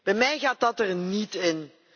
Bij mij gaat dat er niet in.